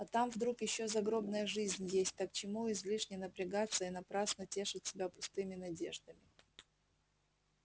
а там вдруг ещё загробная жизнь есть так к чему излишне напрягаться и напрасно тешить себя пустыми надеждами